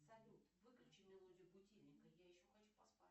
салют выключи мелодию будильника я еще хочу поспать